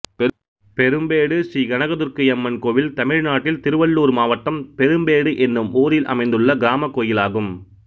பெரும்பேடு ஸ்ரீ கனக துர்க்கை அம்மன் கோயில் தமிழ்நாட்டில் திருவள்ளூர் மாவட்டம் பெரும்பேடு என்னும் ஊரில் அமைந்துள்ள கிராமக் கோயிலாகும்